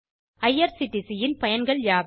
IRCTC ன் பயன்கள் யாவை